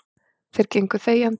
Þeir gengu þegjandi.